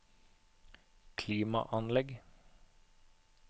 klimaanlegg